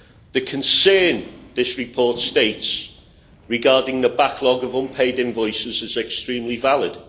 The concern this report states regarding the backlog of unpaid invoices is extremely valid.